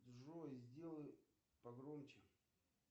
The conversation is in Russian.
джой сделай погромче